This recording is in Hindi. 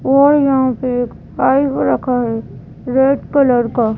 और यहाँ पे एक पाइप रखा है रेड कलर का --